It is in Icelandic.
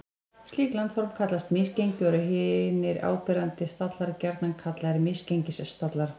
Slík landform kallast misgengi og eru hinir áberandi stallar gjarnan kallaðir misgengisstallar.